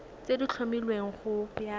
tse di tlhomilweng go ya